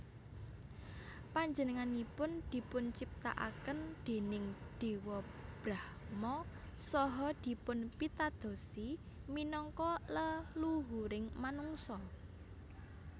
Panjenenganipun dipunciptakaken déning Dewa Brahma saha dipunpitadosi minangka leluhuring manungsa